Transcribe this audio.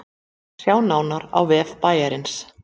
Sjá nánar á vef bæjarins